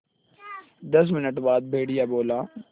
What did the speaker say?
दस मिनट बाद भेड़िया बोला